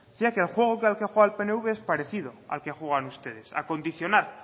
mira que el juego que al que ha jugado el pnv es parecido al que juegan ustedes a condicionar